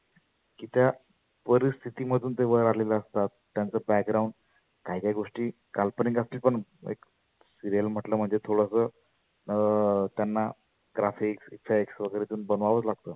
ज्या परिस्थिती मधुन ते वर आलेले असतात. त्यांच background काही काही गोष्टी काल्पनीक असते पण एक serial म्हटलं म्हणजे थोडास अं त्यांना graphics, flex बनवावच लागतंं